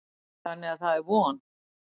Þannig að það er von.